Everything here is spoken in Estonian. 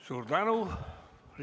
Suur tänu!